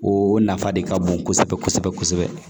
O nafa de ka bon kosɛbɛ kosɛbɛ